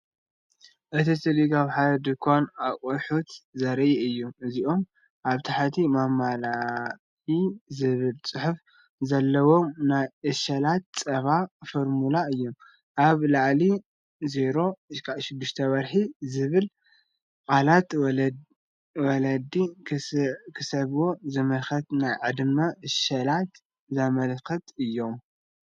እቲ ስእሊ ኣብ ሓደ ድኳን ኣቑሑት ዘርኢ እዩ። እዚኦም ኣብ ታሕቲ “ማሚ ላክ e” ዝብል ጽሑፍ ዘለዎም ናይ ዕሸላት ጸባ ፎርሙላ እዮም። ኣብ ላዕሊ “0–6 ወርሒ” ዝብሉ ቃላት ወለዲ ክስዕብዎ ዝምከሩ ናይ ዕድመ ዕሸላት ዘመልክቱ እዮም።